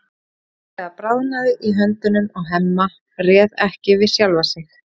Hún hreinlega bráðnaði í höndunum á Hemma, réð ekki við sjálfa sig.